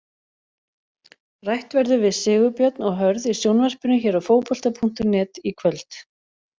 Rætt verður við Sigurbjörn og Hörð í sjónvarpinu hér á Fótbolta.net í kvöld.